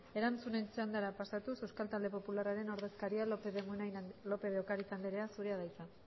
erantzunen txandara pasatuz euskal talde popularraren ordezkaria lópez de ocariz andrea zurea da hitza